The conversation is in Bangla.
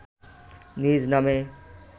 নিজ নামে